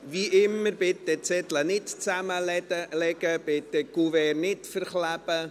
Wie immer, bitte ich Sie, die Zettel nicht zu falten und die Kuverts nicht zuzukleben.